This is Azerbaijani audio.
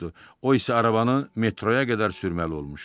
O isə arabanı metroya qədər sürməli olmuşdu.